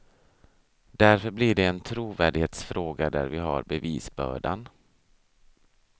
Därför blir det en trovärdighetsfråga där vi har bevisbördan.